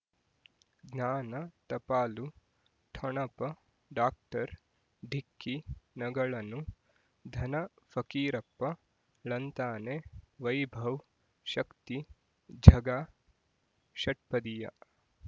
ಜ್ಞಾನ ಟಪಾಲು ಠೊಣಪ ಡಾಕ್ಟರ್ ಢಿಕ್ಕಿ ಣಗಳನು ಧನ ಫಕೀರಪ್ಪ ಳಂತಾನೆ ವೈಭವ್ ಶಕ್ತಿ ಝಗಾ ಷಟ್ಪದಿಯ